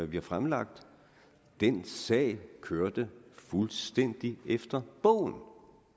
vi har fremlagt den sag kørte fuldstændig efter bogen